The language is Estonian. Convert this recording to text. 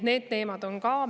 Need teemad on meil ka laual.